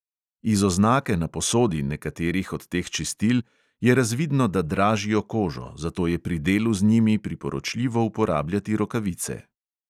Iz oznake na posodi nekaterih od teh čistil je razvidno, da dražijo kožo, zato je pri delu z njimi priporočljivo uporabljati rokavice.